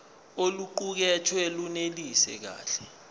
oluqukethwe lunelisi kahle